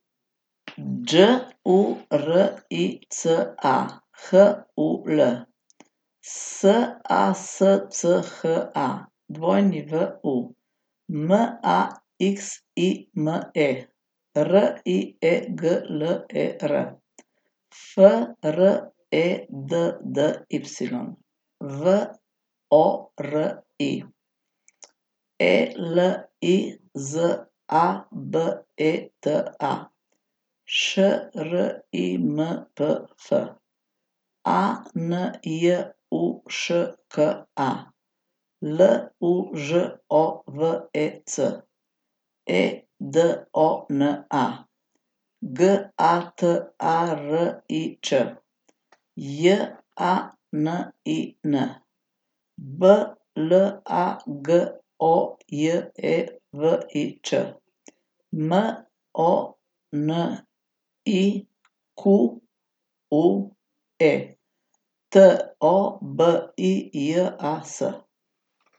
Đ U R I C A, H U L; S A S C H A, W U; M A X I M E, R I E G L E R; F R E D D Y, V O R I; E L I Z A B E T A, Š R I M P F; A N J U Š K A, L U Ž O V E C; E D O N A, G A T A R I Ć; J A N I N, B L A G O J E V I Č; M O N I Q U E, T O B I J A S.